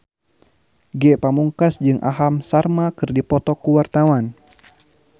Ge Pamungkas jeung Aham Sharma keur dipoto ku wartawan